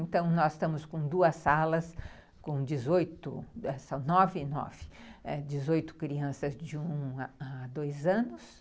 Então, nós estamos com duas salas, com dezoito, são nove e nove, ãh, dezoito crianças de um a dois anos.